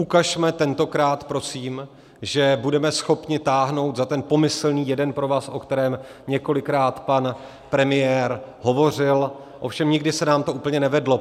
Ukažme tentokrát, prosím, že budeme schopni táhnout za ten pomyslný jeden provaz, o kterém několikrát pan premiér hovořil, ovšem nikdy se nám to úplně nevedlo.